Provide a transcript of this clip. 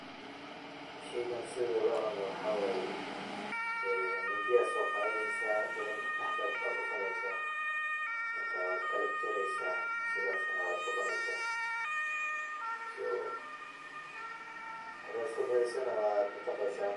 Sheygan sida loo cuno waxaa waye ee mindi aa soo qadaneysa then dhaxdaa ku kala dhufaneysaa, marka waad kala jareysaa ,sidaas na waad ku cuneysaa.so hadaad iska badiso na waad mataqeysaa.